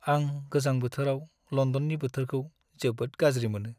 आं गोजां बोथोराव लन्दननि बोथोरखौ जोबोद गाज्रि मोनो।